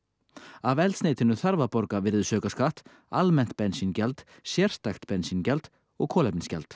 af eldsneytinu þarf að borga virðisaukaskatt almennt bensíngjald sérstakt bensíngjald og kolefnisgjald